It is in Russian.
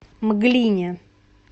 мглине